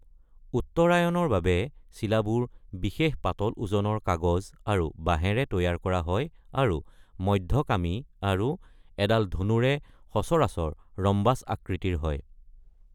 উত্তৰায়ণৰ বাবে চিলাবোৰ বিশেষ পাতল ওজনৰ কাগজ আৰু বাঁহেৰে তৈয়াৰ কৰা হয় আৰু মধ্য কামি আৰু এডাল ধনুৰে সচৰাচৰ ৰম্বাচ আকৃতিৰ হয়।